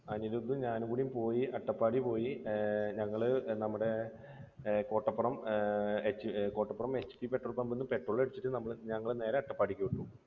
അനിരുദ്ധും ഞാനുംകൂടി പോയി, അട്ടപ്പാടിയിൽ പോയി. പിന്നെ ഞങ്ങൾ നമ്മുടെ ഏർ കോട്ടപ്പുറം കോട്ടപ്പുറം ഏർ petrol pum ൽനിന്ന് petrol അടിച്ചിട്ട് ഞങ്ങൾ നേരെ അട്ടപ്പാടിക്ക് വിട്ടു.